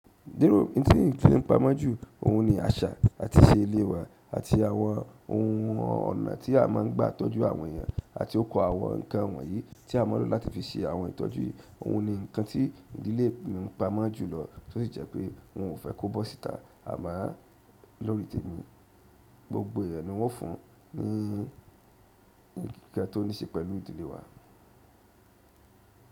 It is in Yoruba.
Díro nti ń fi pa mọ́ jù, òhun ni àṣà àti ìṣe ilé wa àti àwọn ohun ọ̀nà tí a máa ń gbà tọ́jú àwọn èèyàn àti oko àwọn nǹkan wọ̀nyí tí a máa ń lò láti fi ṣe àwọn ìtọ́jú. Òhun ni nǹkan tí ìdílé mi ń pa mọ́ jùlọ tí ó sì jẹ́ pé wọn ò fẹ́ kó bọ́ síta. A máa lọ̀rí tẹmi gbogbo ìrẹ̀ ni wọ́n fún ní ohun kan tó ní ṣe pẹ̀lú ìdílé wa.